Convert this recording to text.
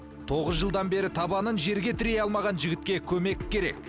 тоғыз жылдан бері табанын жерге тірей алмаған жігітке көмек керек